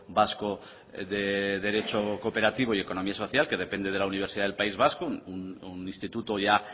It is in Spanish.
vasco de derecho cooperativo y economía social que depende de la universidad del país vasco un instituto ya